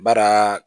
Baraa